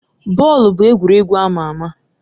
Bọọlụ bụ egwuregwu ama ama.